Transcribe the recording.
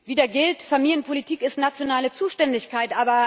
Wieder gilt Familienpolitik ist nationale Zuständigkeit!